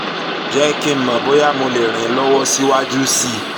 jẹ́ kí n mọ̀ bóyá um mo lè ràn ẹ́ lọ́wọ́ síwájú sí um i